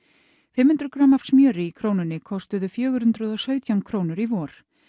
fimm hundruð grömm af smjöri í Krónunni kostuðu fjögur hundruð og sautján krónur í vor